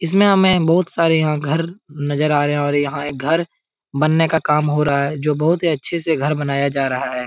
इसमें हमे बहौत सारे यहाँ घर नजर आ रहे हैं और यहाँ एक घर बनने का काम हो रहा है जो बहौत ही अच्छे से घर बनाया जा रहा है।